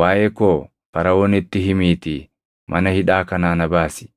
Waaʼee koo Faraʼoonitti himiitii mana hidhaa kanaa na baasi.